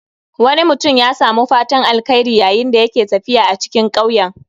Wani mutum ya samu fatan alkhairi yayin da yake tafiya a cikin ƙauyen